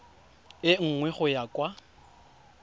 e nngwe go ya kwa